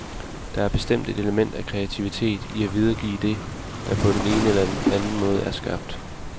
Der er bestemt et element af kreativitet i at videregive det, der på den ene eller den anden måde er skabt.